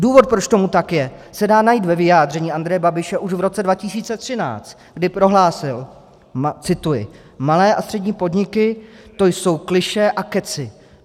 Důvod, proč tomu tak je, se dá najít ve vyjádření Andreje Babiše už v roce 2013, kdy prohlásil - cituji: "Malé a střední podniky, to jsou klišé a kecy.